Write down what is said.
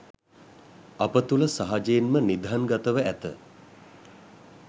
අප තුළ සහජයෙන්ම නිධන්ගතව ඇත